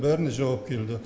бәріне жауап келді